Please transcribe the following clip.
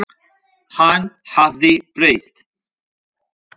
Hann hafði breyst.